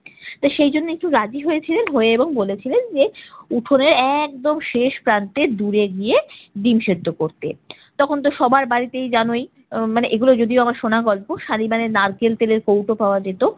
তো সেইজন্য একটু রাজি হয়েছিলেন, হয়ে এবং বলেছিলেন, যে উঠোনের একদম শেষ প্রান্তে দূরে গিয়ে ডিম সেদ্ধ করতে। তখনতো সবাই বাড়িতেই জানই উম মানে এগুলো যদিও আমার শোনা গল্প, শালিমারের নারকেল তেলের কৌটো পাওয়া যেত।